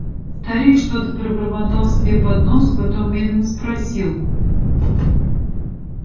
старик что-то пробормотал себе под нос потом медленно спросил